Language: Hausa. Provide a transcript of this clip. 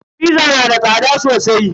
"Fizza" yana da tsada sosai.